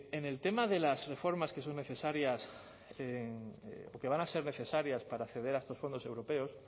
en el tema de las reformas que son necesarias porque van a ser necesarias para acceder a estos fondos europeos